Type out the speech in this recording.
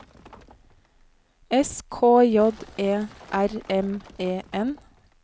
S K J E R M E N